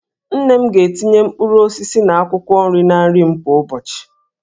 Nne m ga-etinye mkpụrụ osisi na akwụkwọ nri na nri m kwa ụbọchị